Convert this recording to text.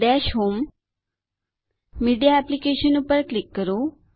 દશ home media applications પર click કરો